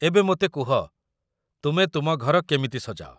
ଏବେ, ମୋତେ କୁହ, ତୁମେ ତୁମ ଘର କେମିତି ସଜାଅ?